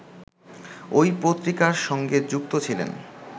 ঐ পত্রিকার সঙ্গে যুক্ত ছিলেন